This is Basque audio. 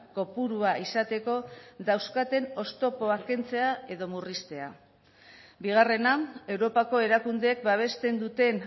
kopurua izateko dauzkaten oztopoak kentzea edo murriztea bigarrena europako erakundeek babesten duten